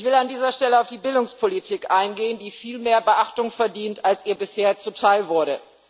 Ich will an dieser Stelle auf die Bildungspolitik eingehen, die viel mehr Beachtung verdient als ihr bisher zuteilwurde.